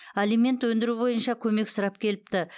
алимент өндіру бойынша көмек сұрап келіпті